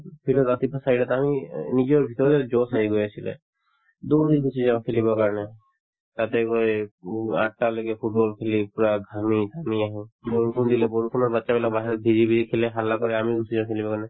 field ত ৰাতিপুৱা চাৰিটাতে আমি অ নিজৰ ভিতৰতে josh আহি গৈ আছিলে দৌৰি গুচি যাওঁ খেলিবৰ কাৰণে তাতে গৈ উম আঠটালৈকে football খেলি পূৰা ঘামি ঘামি আহো বৰষুণ দিলে বৰষুণত batches বিলাক বাহিৰত জিকি জিকি খেলে হাল্লা কৰে আমিও গুচি যাওঁ খেলিবৰ কাৰণে